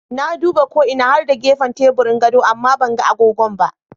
Na duba ko ina har da gefan teburin gado amma banga agogon ba.